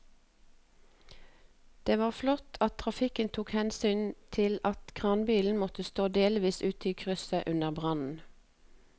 Det var flott at trafikken tok hensyn til at kranbilen måtte stå delvis ute i krysset under brannen.